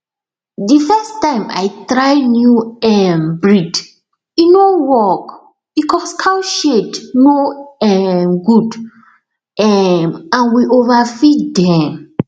the first time i try new um breed e no work because cow shed no um good um and we overfeed dem